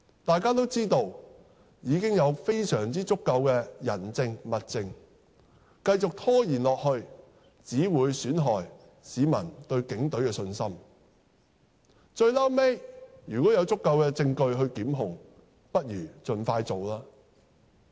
大家都知道已有非常足夠的人證、物證，繼續拖延下去只會損害市民對警隊的信心，最後如有足夠證據作檢控，不如盡快進行吧。